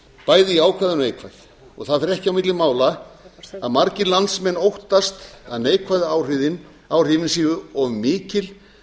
bæði jákvæð og neikvæð það fer ekki á milli mála að margir landsmenn óttast að neikvæðu áhrifin séu of mikil